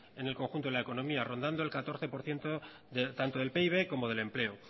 en el conjunto de la economía rondando el catorce por ciento tanto del pib como del empleo